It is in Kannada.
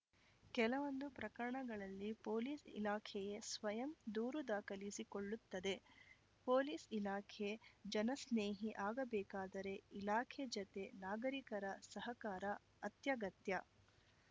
ಕೆಲವೊಂದು ಪ್ರಕರಣಗಳಲ್ಲಿ ಪೊಲೀಸ್‌ ಇಲಾಖೆಯೇ ಸ್ವಯಂ ದೂರು ದಾಖಲಿಸಿ ಕೊಳ್ಳುತ್ತದೆ ಪೊಲೀಸ್‌ ಇಲಾಖೆ ಜನಸ್ನೇಹಿ ಆಗಬೇಕಾದರೆ ಇಲಾಖೆ ಜತೆ ನಾಗರಿಕರ ಸಹಕಾರ ಅತ್ಯಗತ್ಯ